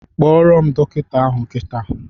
Kpọrọ m dọkịta ahụ kita!